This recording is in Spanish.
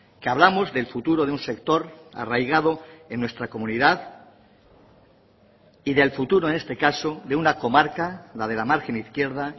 que hablamos del futuro de un sector arraigado en nuestra comunidad y del futuro en este caso de una comarca la de la margen izquierda